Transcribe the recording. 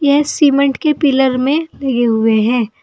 ए cement के pillar में लगे हुए हैं।